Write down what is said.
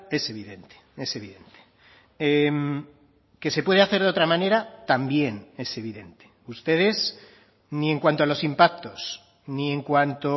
es evidente es evidente que se puede hacer de otra manera también es evidente ustedes ni en cuanto a los impactos ni en cuanto